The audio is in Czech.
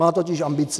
Má totiž ambici.